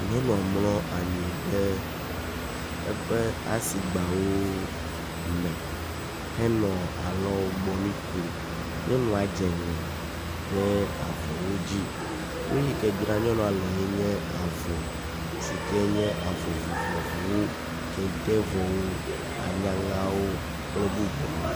Nyɔnua mlɔ anyi ɖe eƒe asigbawo me henɔ alɔgbɔnui kom. Nyɔnua dze ŋe ɖe avɔwo dzi. Nu yi ke dzra nyɔnua lee nye avɔ, si ke nye avɔ vovovowo; kente vɔwo, anyaŋawo kple bubuawo.